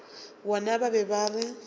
bona ba be ba re